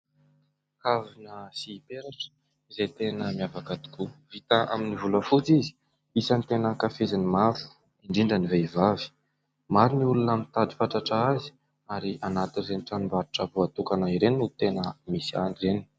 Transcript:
Kavina sy peratra izay tena miavaka tokoa vita amin'ny volafotsy izy isany tena ankafizin'ny maro indrindra ny vehivavy, maro ny olona mitady fatratra azy ary anatin'ireny tranombarotro voatokana ireny no tena misy an'ireny.